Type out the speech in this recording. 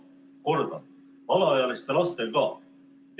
" Kordan: alaealiste lastega.